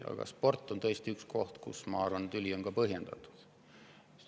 Aga sport on tõesti üks koht, kus see tüli minu arvates on põhjendatud.